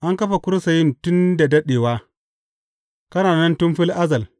An kafa kursiyin tun da daɗewa; kana nan tun fil azal.